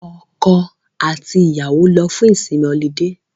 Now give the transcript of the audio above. Ọkọ àti ìyàwó lọ fún ìsinmi ọlidé